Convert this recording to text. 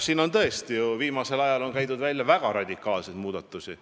Siin on ju viimasel ajal käidud välja väga radikaalseid muudatusi.